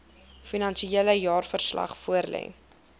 finansiële jaarverslag voorlê